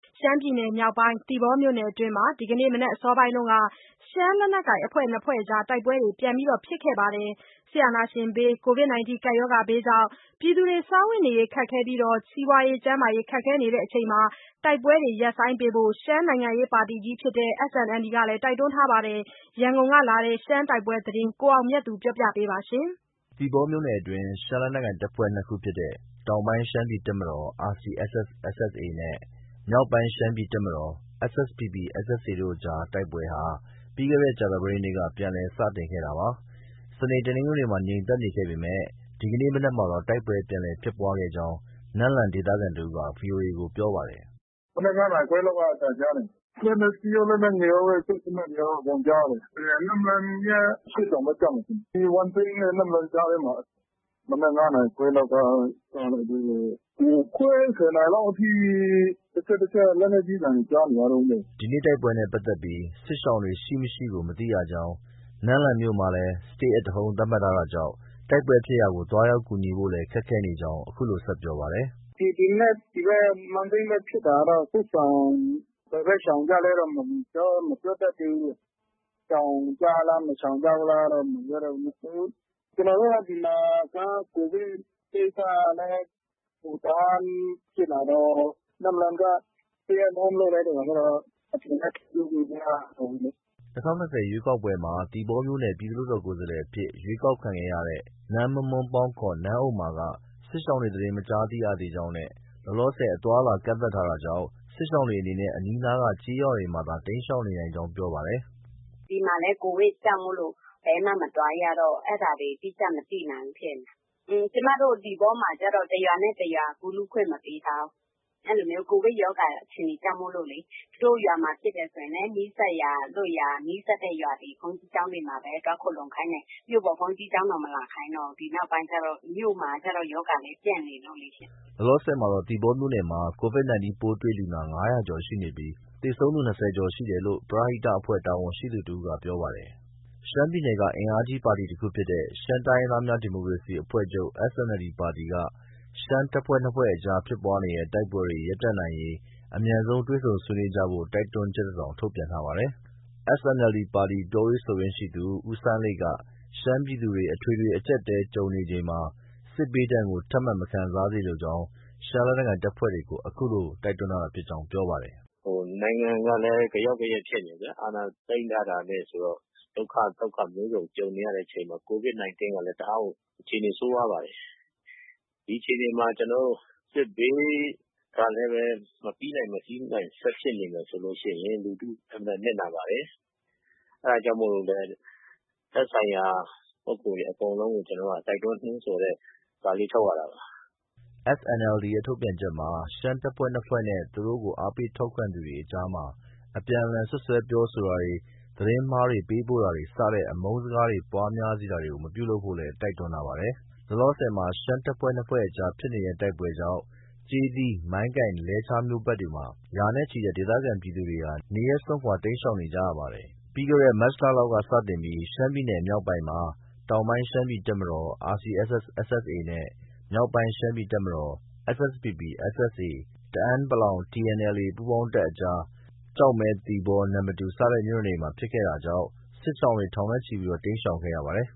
ရှမ်းပြည်နယ်မြောက်ပိုင်း သီပေါမြို့နယ်အတွင်းမှာ ဒီကနေ့ မနက်အစောပိုင်းက ရှမ်းလက်နက်ကိုင် အဖွဲ့နှစ်ဖွဲ့ကြား တိုက်ပွဲတွေ ပြန်လည်ဖြစ်ပွားခဲ့ပါတယ်။ စစ်အာဏာရှင်ဘေး၊ Covid 19 ကပ်ရောဂါဘေးကြောင့် ပြည်သူတွေစားဝတ်နေရေး ခက်ခဲပြီး စီးပွားရေး၊ ကျန်းမာရေးခက်ခဲနေချိန်မှာ တိုက်ပွဲတွေရပ်ဆိုင်းဖို့ ရှမ်းနိုင်ငံရေး ပါတီကြီးဖြစ်တဲ့ SNLD က တိုက်တွန်းထားပါတယ်။ ရန်ကုန်ကလာတဲ့ ရှမ်းတိုက်ပွဲသတင်းကို ကိုအောင်မြတ်သူက ပြောပြပါမယ်။ သီပေါမြို့နယ်အတွင်း ရှမ်းလက်နက်ကိုင်နှစ်ဖွဲ့ဖြစ်တဲ့ တောင်ပိုင်းရှမ်းပြည်တပ်မတော် (RCSS/SSA) နဲ့ မြောက်ပိုင်းရှမ်းပြည်တပ်မတော် (SSPP/SSA) တို့အကြား တိုက်ပွဲဟာ ပြီးခဲ့တဲ့ ကြာသပတေးနေ့က ပြန်လည် စတင်လာခဲ့တာပါ။ စနေ၊ တနင်္ဂနွေမှာ ငြိမ်သက်နေခဲ့ပေမဲ့ ဒီကနေ့မနက်မှာတော့ တိုက်ပွဲပြန်လည်ဖြစ်ပွားခဲ့ကြောင်း နမ့်လန်ဒေသခံတစ်ဦးက VOA ကို ပြောပါတယ်။ “မနက် ၅ နာရီခွဲလောက်က အသံကြားတယ်။ လက်နက်ကြီးရော၊ လက်နက်ငယ် ရာပဲ။ စက်သေနတ်တွေရော အကုန်ကြားရတယ်။ နမ့်လန်ရဲ့ အရှေ့တောင်ဘက် ကျမယ်ထင်တယ်။ ဒီ ဝမ်းစိမ်းနဲ့ နမ့်လန်ကြားထဲမှာ။ မနက် ၅ နာရီခွဲလောက်က စလိုက်ပြီးတော့ ၉ ခွဲ၊ ၁၀ နာရီလောက်အထိ တချက်၊ တချက် လက်နက်ကြီးသံတွေ ကြားနေရတုံးဗျ။” ဒီနေ့ တိုက်ပွဲနဲ့ပတ်သက်ပြီး စစ်ရှောင်တွေ ရှိ၊ မရှိကို မသိရကြောင်း၊ နမ့်လန်မြို့မှာ Stay at home သတ်မှတ် ထားတာကြောင့် တိုက်ပွဲဖြစ်ရာကို သွားရောက်ကူညီဖို့လည်း ခက်ခဲနေကြောင်း အခုလို ဆက်ပြောပါတယ်။ “ဒီမနက် ဝမ်းစိမ်းဘက် ဖြစ်တာကတော့ စစ်ရှောင် ဘယ်ဘက် ရှောင်ကြလည်းတော့ မပြောတတ်သေးဘူး။ ရှောင်ကြလား၊ မရှောင်ကြလားတော့ မပြောတတ်ဘူး။ ကျနော်တို့ ဒီမှာက Covid ကိစ္စလည်း တအားကြီး ဖြစ်လာတော့ နမ့်လန်က Stay at home လုပ်လိုက်တဲ့အခါကျတော့ အပြင်လည်း ထွက်လို့ မရတော့ဘူးလေ။” ၂၀၂၀ ရွေးကောက်ပွဲမှာ သီပေါမြို့နယ်က ပြည်နယ်လွှတ်တော်ကိုယ်စားလှယ်အဖြစ် ရွေးကောက်ခံရတဲ့ နမ်းမွမ်းမွမ်းပေါင်း ခေါ် နန်းဥမ္မာက စစ်ရှောင်တွေ သတင်း မကြားသိရသေးကြောင်းနဲ့ လောလောဆည် အသွားအလာ ကန့်သတ်ထားတာကြောင့် စစ်ရှောင်တွေအနေနဲ့ အနီးအနား ကျေးရွာတွေမှာသာ တိမ်းရှောင်နေနိုင်ကြောင်း ပြောပါတယ်။ “ဒီမှာလည်း Covid ကြောင့် ဘယ်မှမသွားရတော့ အဲဒါတွေ အတိအကျ မသိနိုင် ဘူးဖြစ်နေတာ။ ကျမတို့ သီပေါမှာကျတော့ တရွာနဲ့တရွာ ကူးလူးခွင့်မပေးထားဘူး။ Covid ရောဂါ အခြေအနေကြောင့်မို့လေ။ သူတို့ရွာမှာ ဖြစ်တယ်ဆိုရင်လည်း နီးစပ်ရာလွတ်ရာ နီးစပ်တဲ့ရွာတွေ ဘုန်းကြီးကျောင်းတွေမှာပဲ သွားခိုလှုံခိုင်းတယ်။ မြို့ပေါ်ဘုန်းကြီးကျောင်းတောင် မလာခိုင်းတော့ဘူး။ ဒီနောက်ပိုင်းကျတော့။ မြို့မှာကျတော့ ရောဂါလည်း ပြန့်နေလို့လေ။” လောလောဆယ်မှာတော့ သီပေါမြို့မှာ Covid 19 ပိုးတွေ့လူနာ ၅၀၀ ကျော်ရှိနေပြီး သေဆုံး ၂၀ ကျော်ရှိ နေတယ်လို့ ပရဟိတအဖွဲ့ တာဝန်ရှိသူတဦးက ပြောပါတယ်။ ရှမ်းပြည်နယ်က အင်အားကြီးပါတီကြီးတခုဖြစ်တဲ့ ရှမ်းတိုင်းရင်းသားများ ဒီမိုကရေစီအဖွဲ့ချုပ် SNLD ပါတီ က ရှမ်းတပ်ဖွဲ့နှစ်ဖွဲ့အကြားဖြစ်ပွားနေတဲ့ တိုက်ပွဲတွေ ရပ်တန့်နိုင်ရေး အမြန်ဆုံးတွေ့ဆုံဆွေးနွေးကြဖို့ တိုက်တွန်းချက်တစောင် ထုတ်ပြန်ထားပါတယ်။ SNLD ပါတီ ပြောရေးဆိုခွင့်ရှိသူ ဦးစိုင်းလိတ်က ရှမ်း ပြည်သူတွေ အထွေထွေ အကျပ်အတည်းကြုံနေချိန်မှာ စစ်ဘေးဒဏ်ကို ထပ်မံမခံစားစေလိုကြောင်း ရှမ်းလက်နက်ကိုင်အဖွဲ့တွေကို အခုလို တိုက်တွန်းတာဖြစ်ကြောင်း ပြောပါတယ်။ “နိုင်ငံကလည်း ဂယောက်ဂယက်ဖြစ်နေတယ်ဗျာ။ အာဏာသိမ်းထားတာနဲ့ဆိုတော့ ဒုက္ခသုက္ခ မျိုးစုံကြုံနေရတဲ့အချိန်မှာ Covid 19 ကလည်း တအားကို အခြေအနေ ဆိုးဝါးပါတယ်။ ဒီအချိန်မှာ ကျနော်တို့ စစ်ဘေးကလည်းပဲ မပြီးနိုင် မစီးနိုင်ဆက်ဖြစ်နေမယ်ဆိုရင် လူထု အင်မတန်နစ်နာပါတယ်။ အဲဒါကြောင့်မို့လို့လည်း သက်ဆိုင်ရာ ပုဂ္ဂိုလ်တွေအကုန်လုံးကို ကျနော်တို့က တိုက်တွန်းနိုးဆော်တဲ့ စာလေး ထုတ်ရတာပါ။” SNLD ရဲ့ ထုတ်ပြန်ချက်မှာ ရှမ်းတပ်ဖွဲ့နှစ်ဖွဲ့နဲ့ သူတို့ကို အားပေးထောက်ခံသူတွေအကြားမှာ အပြန်အလှန်စွပ်စွဲပြောဆိုတာတွေ၊ သတင်းမှားတွေ ပေးပို့တာတွေ စတဲ့ အမုန်းစကားတွေ ပွားများစေတာတွေ မပြုလုပ်ဖို့လည်း တိုက်တွန်းထားပါတယ်။ လောလောဆယ်မှာတော့ ရှမ်းတပ်ဖွဲ့နှစ်ဖွဲ့ကြား ဖြစ်တဲ့တိုက်ပွဲကြောင့် ကျေးသီး၊ မိုင်းကိုင်နဲ့ လဲချားမြို့နယ်ဘက်တွေမှာ ရာနဲ့ချီတဲ့ ဒေသခံပြည်သူတွေ နေရပ်စွန့်ခွာ တိမ်းရှောင်နေရပါတယ်။ ပြီးခဲ့တဲ့ မတ်လလောက်ကစတင်ပြီး ရှမ်းပြည်နယ်မြောက်ပိုင်းမှာ တောင်ပိုင်းရှမ်းပြည်တပ်မတော် (RCSS/SSA) နဲ့ မြောက်ပိုင်းရှမ်းပြည်တပ်မတော် (SSPP/SSA)- တအန်း(ပလောင်- TNLA )ပူးပေါင်းတပ်အကြား ကျောက်မဲ၊ သီပေါ၊ နမ္မတူ စတဲ့မြို့နယ်တွေမှာ ဖြစ်ခဲ့တာကြောင့် စစ်ရှောင် ထောင်နဲ့ချီပြီး တိမ်းရှောင်ခဲ့ရပါတယ်